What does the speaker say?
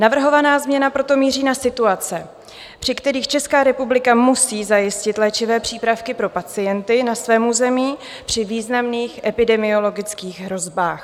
Navrhovaná změna proto míří na situace, při kterých Česká republika musí zajistit léčivé přípravky pro pacienty na svém území při významných epidemiologických hrozbách.